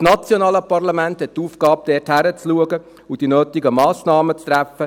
Das nationale Parlament hat die Aufgabe, dort hinzuschauen und die nötigen Massnahmen zu treffen.